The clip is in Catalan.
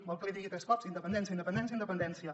vol que l’hi digui tres cops independència independència independència